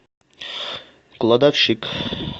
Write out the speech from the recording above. кладовщик